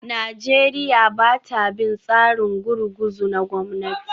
Najeriya ba ta bin tsarin gurguzu na gwamnati